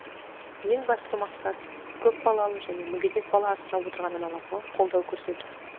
ең басты мақсат көпбалалы және мүгедек бала асырап отырған аналарға қолдау көрсету